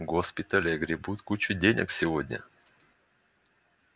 госпитали огребут кучу денег сегодня